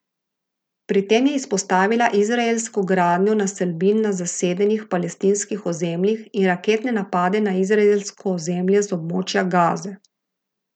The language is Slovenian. Pri tem je izpostavila izraelsko gradnjo naselbin na zasedenih palestinskih ozemljih in raketne napade na izraelsko ozemlje z območja Gaze.